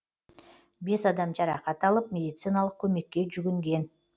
бес адам жарақат алып медициналық көмекке жүгінген